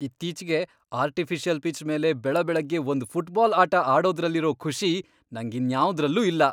ಇತ್ತೀಚ್ಗೆ artificial pitch ಮೇಲೆ ಬೆಳಬೆಳಗ್ಗೆ ಒಂದ್ ಫುಟ್ಬಾಲ್ ಆಟ ಆಡೋದ್ರಲ್ಲಿರೋ ಖುಷಿ ನಂಗಿನ್ಯಾವ್ದ್ರಲ್ಲೂ ಇಲ್ಲ.